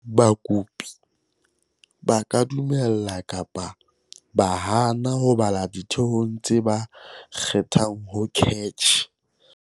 Bakopi ba ka dumela kapa ba hane ho bala ditheong tse ba kgethang ho CACH.